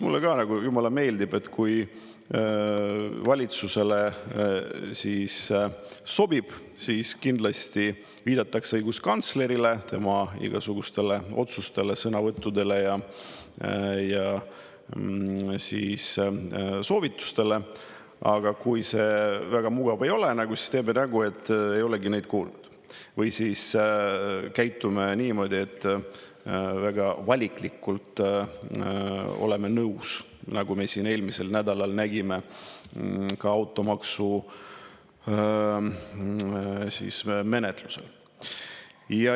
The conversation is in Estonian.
Mulle jumala meeldib, et kui valitsusele sobib, siis kindlasti viidatakse õiguskantslerile, tema igasugustele otsustele, sõnavõttudele ja soovitustele, aga kui see väga mugav ei ole, siis tehakse nägu, et ei oldagi neid kuulnud, või siis käitutakse niimoodi, et väga valikuliselt ollakse nendega nõus, nagu me siin eelmisel nädalal nägime ka automaksu menetlusel.